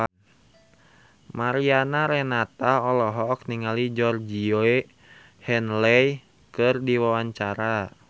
Mariana Renata olohok ningali Georgie Henley keur diwawancara